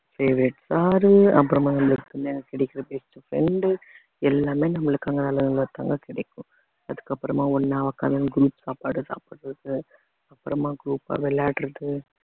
favourite sir உ அப்புறமா நம்மளுக்குன்னே கிடைக்கிற best friend உ எல்லாமே நம்மளுக்கு அங்க நல்லவங்களா தாங்க கிடைக்கும் அதுக்கப்புறமா ஒண்ணா உட்காந்து group சாப்பாடு சாப்பிடுறது அப்புறமா group ஆ விளையாடுறது